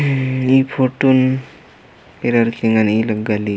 ई फोटोन ऐरर की ऐंगन ई लग्गा ली--